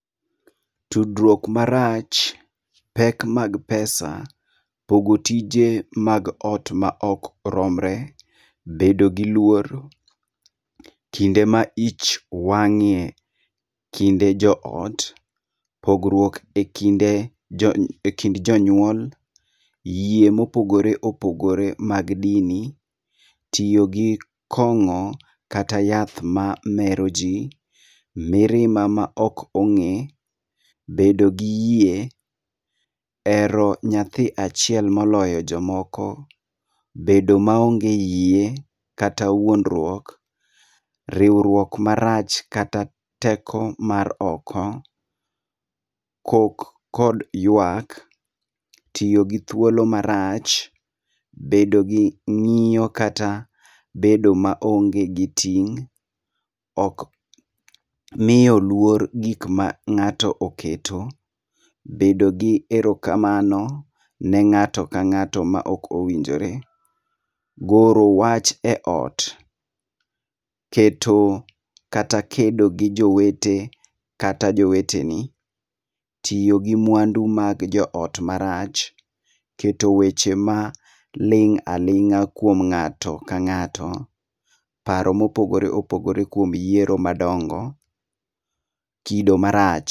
Tudrwuok marach, pek mag pesa, pogo tije mag ot ma okromre, bedo gi luor kinde ma ich wang'ie kinde joot, pogrwuok e kinde jo jony e kind jonyuol, yie mopogore opogore mag dini, tio gi kong'o kata yath mamero jii, mirima ma ok ong'e, bedo gi yie, ero nyathi achiel moloyo jomoko, bedo maonge yie kata wuondrwuok, riwruok marach kata teko mar oko, kok kod yuak, tio gi thuolo marach, bedo gi ng'io kata bedo maonge gi ting', ok mio luor gik ma ng'ato oketo, bedo gi erokamano ne ng'ato kang'ato ma okowinjore, goro wach e ot, keto kata kedo gi jowete kata joweteni, tio gi mwandu mag joot marach, keto weche maling' aling'a kwom ng'ato ka ng'ato, paro ma opogore opogore kwom yiero madongo, kido marach.